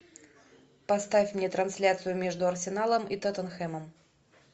поставь мне трансляцию между арсеналом и тоттенхэмом